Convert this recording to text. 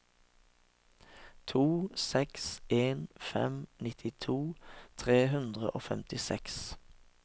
to seks en fem nittito tre hundre og femtiseks